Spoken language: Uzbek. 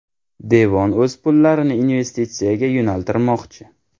Devon o‘z pullarini investitsiyaga yo‘naltirmoqchi.